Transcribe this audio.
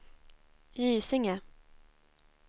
Gysinge